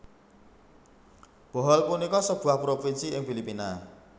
Bohol punika sebuah provinsi ing Filipina